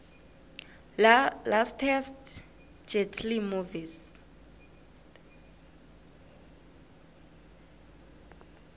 lastest jet lee movies